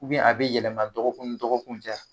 a bɛ yɛlɛma dɔgɔkun dɔgɔkun tɛ ya.